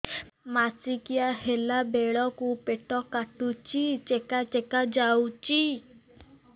ମାସିକିଆ ହେଲା ବେଳକୁ ପେଟ କାଟୁଚି ଚେକା ଚେକା ଯାଉଚି